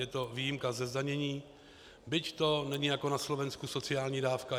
Je to výjimka ze zdanění, byť to není jako na Slovensku sociální dávka.